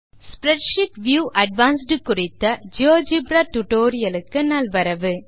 வணக்கம் spreadsheet view advanced குறித்த GeoGebra tutorial க்கு நல்வரவு